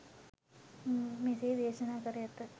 මෙසේ දේශනා කර ඇත.